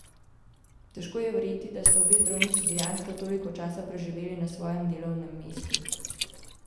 Težko je verjeti, da sta obe zdravnici dejansko toliko časa preživeli na svojem delovnem mestu.